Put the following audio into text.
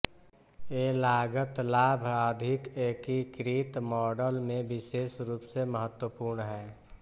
ये लागत लाभ अधिक एकीकृत मॉडल में विशेष रूप से महत्वपूर्ण हैं